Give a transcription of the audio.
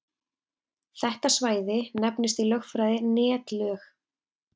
Þetta svæði nefnist í lögfræði netlög.